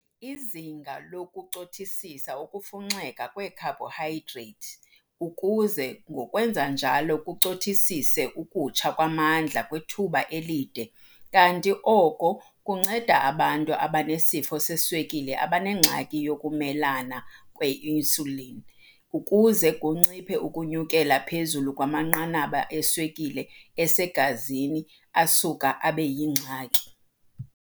Usinga lucothisisa ukufunxeka kweekhayibhohayidrethi ukuze ngokwenza njalo kucothisise ukutsha kwamandla kwithuba elide kanti oko kunceda abantu abanesifo seswekile abanengxaki yokumelana kwe-insulin ukuze kunciphe ukunyukela phezulu kwamanqanaba eswekile esegazini asuka abe yingxaki.